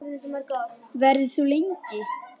Verður þú lengi?